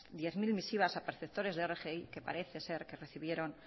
diez mil misivas a perceptores de rgi que parece ser que recibieron